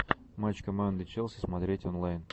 матч команды челси смотреть онлайн